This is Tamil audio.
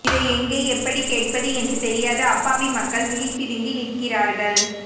இதை எங்கே எப்படிக் கேட்பது என்று தெரியாத அப்பாவி மக்கள் விழிபிதுங்கி நிற்கிறார்கள்